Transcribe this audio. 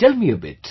Tell me a bit